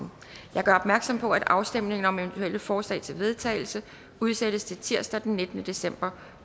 jeg gør opmærksom på at afstemning om eventuelle forslag til vedtagelse udsættes til tirsdag den nittende december